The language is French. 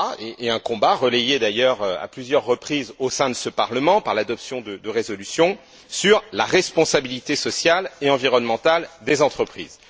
et un combat, relayés d'ailleurs à plusieurs reprises au sein de ce Parlement par l'adoption de résolutions, sur la responsabilité sociale et environnementale des entreprises.